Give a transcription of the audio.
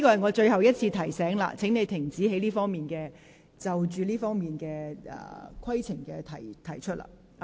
我最後一次提醒你，請停止就這方面的議事規程提出問題。